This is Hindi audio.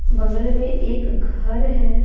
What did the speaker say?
बगल में एक घर है।